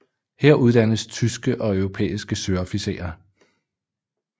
Her uddannes tyske og europæiske søofficerer